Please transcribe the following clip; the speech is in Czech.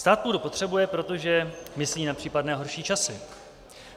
Stát půdu potřebuje, proto myslí na případné horší časy.